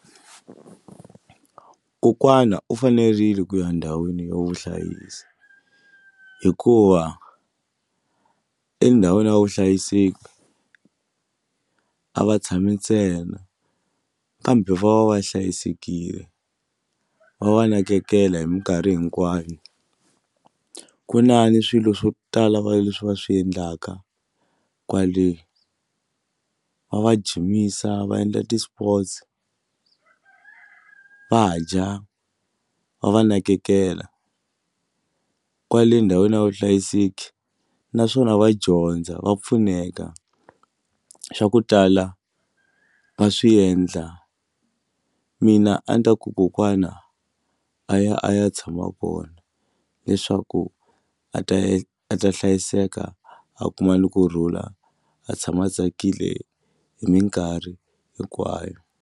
Kokwana u fanerile ku ya ndhawini yo vuhlayisi hikuva endhawini ya vuhlayiseki u a va tshami ntsena kambe va va va hlayisekile va va nakekela hi mikarhi hinkwayo ku na ni swilo swo tala va leswi va swi endlaka kwale va va jimisa va endla ti-sports va dya va va nakekela kwale ndhawini ya vuhlayiseki naswona va dyondza va pfuneka swa ku tala va swi endla mina a ni ta ku kokwana a ya a ya tshama vona leswaku a ta a ta hlayiseka a kuma ni kurhula a tshama a tsakile hi mikarhi hinkwayo.